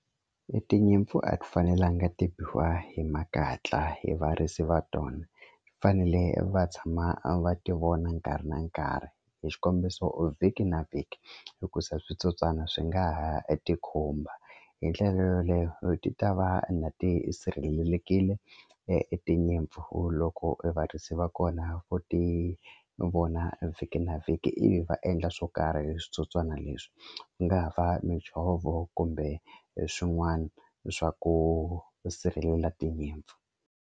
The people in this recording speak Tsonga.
I tinyimpfu a ti fanelanga ti biwa hi makatla hi varisi va tona fanele va tshama va ti vona nkarhi na nkarhi hi xikombiso vhiki na vhiki hikusa switsotswana swi nga ha e ti khumba hi ndlela yoleyo ti ta va na ti sirhelelekile e tinyimpfu loko varisi va kona vo ti vona vhiki na vhiki ivi va endla swo karhi hi switsotswana leswi nga ha va mijhovo kumbe e swin'wani swa ku sirhelela tinyimpfu.